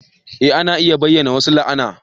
Eh ana iya bayyana wasu la'ana